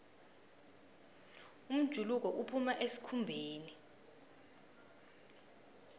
umjuluko uphuma esikhumbeni